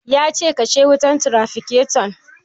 Ya ce "Kashe wutan trafikaton"!